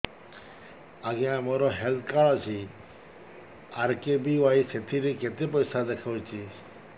ଆଜ୍ଞା ମୋର health card ଅଛି ଆର୍.କେ.ବି.ୱାଇ ସେଥିରେ କେତେ ପଇସା ଦେଖଉଛି